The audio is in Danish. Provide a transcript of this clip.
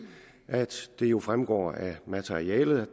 at det jo fremgår af materialet